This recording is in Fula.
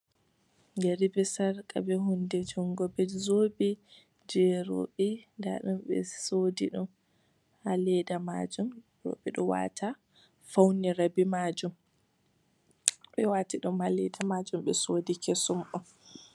Yeri be sarka be hunde jungu be zobe je roɓe nda ɗum be sodi ɗum ha Leda majum, roɓe do wata faunira be majum be wati ɗum ha Leda be sodi ɗum kesum on.